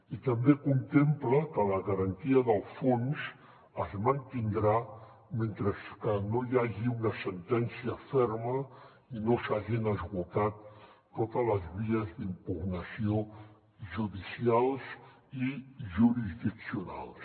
i també contempla que la garantia del fons es mantindrà mentre no hi hagi una sentència ferma i no s’hagin esgotat totes les vies d’impugnació judicials i jurisdiccionals